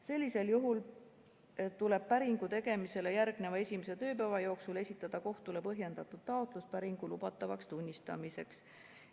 Sellisel juhul tuleb päringu tegemisele järgneva esimese tööpäeva jooksul esitada kohtule põhjendatud taotlus päringu lubatavaks tunnistamiseks.